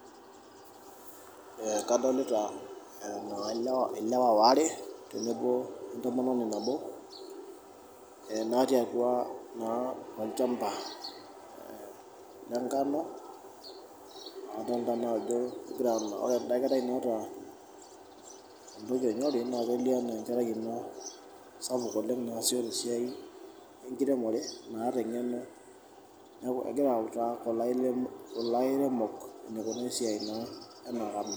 Ee kadolita ilewa aare tenewueji tenebo o entomononi nabo ee naatii naa atua olchamba aa lengano adolta naa ajo ore enda kerai naata orgoti onyori naa kelio naa ajo enkerai ena sapuk oleng' naasisho tena siai e nkiremore naata eng'eno, neeku egira autaa kulo airemok enikunaa esiai naa.